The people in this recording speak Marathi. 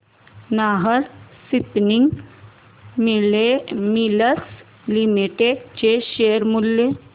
नाहर स्पिनिंग मिल्स लिमिटेड चे शेअर मूल्य